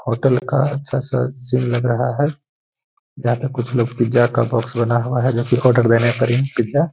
hotel का अच्छा सा सीन लग रहा है जहां पे कुछ लोग पिज़्ज़ा का बॉक्स बना हुआ है जो कि आर्डर देने पर ही पिज़्ज़ा --